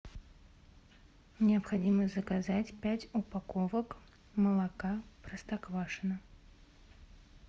необходимо заказать пять упаковок молока простоквашино